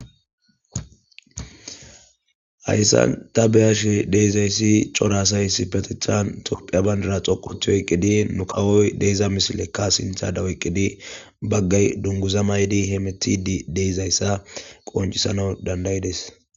Hayssan ta be'ashe diza issi coraa asay issipetetan tophiya banidira xoqo othiy oyqqidi nu kawoy diza misilekka sintha eqqidi baggay dunguza mayidi hemetidi diza issa qoncisanaw dandaydes.